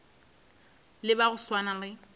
le ba go swana le